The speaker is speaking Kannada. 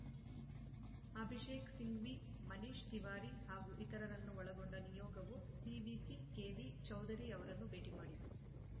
ಅಭಿಷೇಕ್‌ ಸಿಂಘ್ವಿ ಮನೀಶ್‌ ತಿವಾರಿ ಹಾಗೂ ಇತರರನ್ನು ಒಳಗೊಂಡ ನಿಯೋಗವು ಸಿವಿಸಿ ಕೆವಿ ಚೌಧರಿ ಅವರನ್ನು ಭೇಟಿ ಮಾಡಿತು